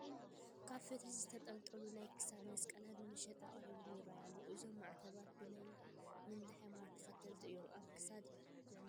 ኣብ ፈትሊ ዝተንጠልጠሉ ናይ ክሳድ መስቀላት ንመሸጣ ቀሪቦም ይርአዩ ኣለዉ፡፡ እዞም ማዕተባት ብናይ ምንታይ ሃይማኖት ተኸተልቲ እዮም ኣብ ክሳድ ዝዕነቑ?